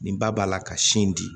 Nin ba b'a la ka sin di